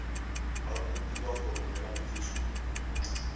ba kopiwa go romela boitshupo